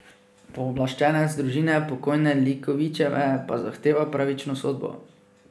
Pooblaščenec družine pokojne Likovičeve pa zahteva pravično sodbo.